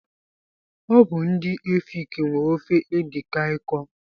Ọ bụ ndị efik nwe ofe edi Kai kọ.